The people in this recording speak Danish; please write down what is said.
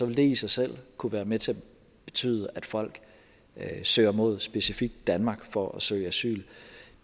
vil det i sig selv kunne være med til at betyde at folk søger mod specifikt danmark for at søge asyl